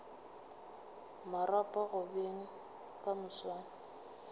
marapo go beng ka moswane